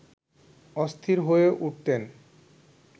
অস্থির হয়ে উঠতেন